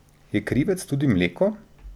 Je krivec tudi mleko?